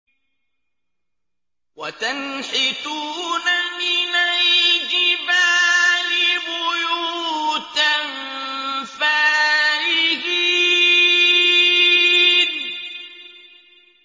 وَتَنْحِتُونَ مِنَ الْجِبَالِ بُيُوتًا فَارِهِينَ